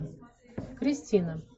кристина